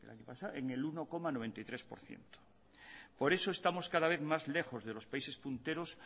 en el año pasado en el uno coma noventa y tres por ciento por eso estamos cada vez más lejos de los países punteros